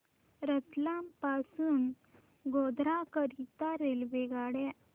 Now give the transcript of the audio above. रतलाम पासून गोध्रा करीता रेल्वेगाड्या